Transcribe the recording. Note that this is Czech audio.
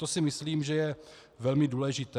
To si myslím, že je velmi důležité.